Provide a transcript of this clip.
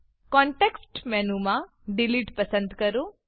context મેનુમાં delete delete પસંદ કરો